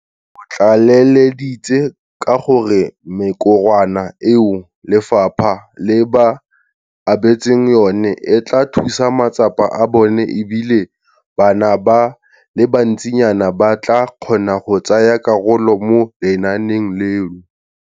O tlaleleditse ka gore mekorwana eo lefapha le ba abetseng yone e tla thusa matsapa a bone e bile bana ba le bantsinyana ba tla kgona go tsaya karolo mo lenaaneng leno.